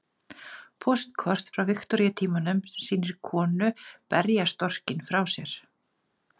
Póstkort frá Viktoríutímanum sem sýnir konu berja storkinn frá sér.